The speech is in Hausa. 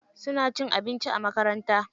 Suna cin abinci a makaranta.